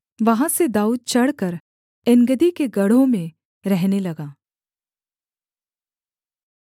वहाँ से दाऊद चढ़कर एनगदी के गढ़ों में रहने लगा